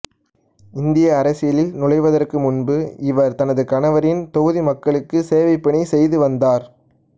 இந்திய அரசியலில் நுழைவதற்கு முன்பு இவர் தனது கணவரின் தொகுதி மக்களுக்கு சேவைப்பணி செய்து வந்தார்